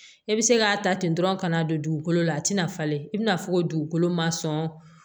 E bɛ se k'a ta ten dɔrɔn ka na don dugukolo la a tɛna falen i bɛna fɔ ko dugukolo ma sɔn